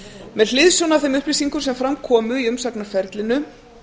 með hliðsjón af þeim upplýsingum sem fram komu í umsagnarferlinu